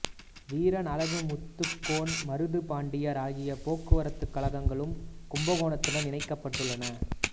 வீரன் அழகுமுத்துக்கோன் மருது பாண்டியர் ஆகிய போக்குவரத்துக் கழகங்களும் கும்பகோணத்துடன் இணைக்கப்பட்டன